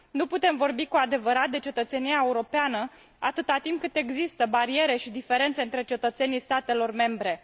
Nu putem vorbi cu adevărat de cetățenia europeană atât timp cât există bariere și diferențe între cetățenii statelor membre.